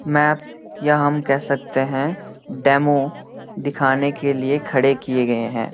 Map या हम कह सकते हैं डेमो दिखाने के लिए खड़े किए गए हैं।